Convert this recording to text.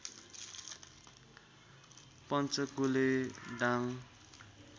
Panchakule Dang